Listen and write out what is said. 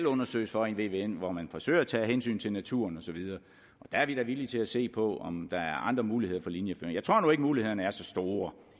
undersøges for i en vvm hvor man forsøger at tage hensyn til naturen og så videre der er vi da villige til at se på om der er andre muligheder for linjeføring jeg tror nu ikke at mulighederne er så store